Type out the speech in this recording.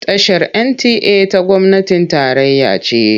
Tashar NTA ta gwamnatin tarayya ce.